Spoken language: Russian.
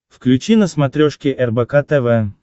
включи на смотрешке рбк тв